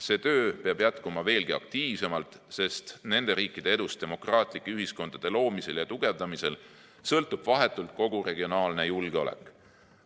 See töö peab jätkuma veelgi aktiivsemalt, sest nende riikide edust demokraatliku ühiskonna loomisel ja tugevdamisel sõltub vahetult kogu regionaalne julgeolek.